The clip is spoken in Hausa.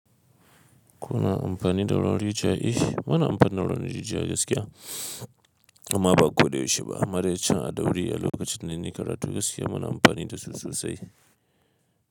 Kuna amfani da rawarin jiki? Eeh muna amfani da ruwarin rijiya gaskiya amma ba ko da yaushe ba. Ma dai can ɗaurile a lokacin nlnayi karatu gaskiyaa muna amfani da su sosai.